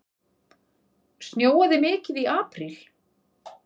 Snjóaði mikið í apríl?